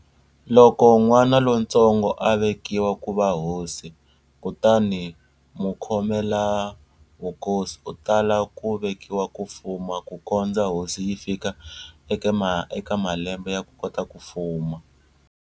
Loko n'wana lontsongo a vekiwa ku va hosi, kutani mukhomelavukosi u tala ku vekiwa ku fuma ku kondza hosi yi fika eka malembe ya ku kota fuma.